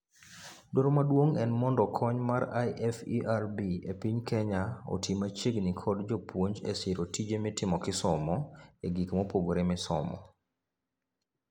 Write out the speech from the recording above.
Dwaro maduong' en mondo kony mar IFERB epiny Kenya oti machiegni kod jopuonj esiro tije mitimo kisomo egik mopogre misomo .